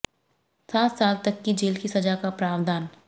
सात साल तक की जेल की सजा का प्रावधान